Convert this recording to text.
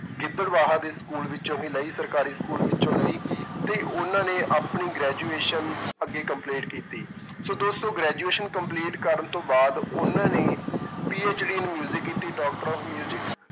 ਗਿਦੜਬਾਹਾ ਦੇ school ਵਿੱਚੋਂ ਹੀ ਲਈ, ਸਰਕਾਰੀ school ਵਿੱਚੋਂ ਲਈ ਤੇ ਉਹਨਾਂ ਨੇ ਆਪਣੀ graduation ਅੱਗੇ complete ਕੀਤੀ ਸੋ ਦੋਸਤੋ graduation complete ਕਰਨ ਤੋਂ ਬਾਅਦ ਉਹਨਾਂ ਨੇ PhD in ਕੀਤੀ doctor of